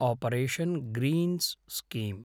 operation greens scheme